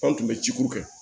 An tun bɛ ciko kɛ